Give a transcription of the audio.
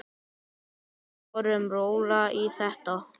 Við förum rólega í þetta.